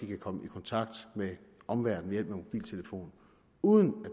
kan komme i kontakt med omverdenen ved hjælp af mobiltelefon uden at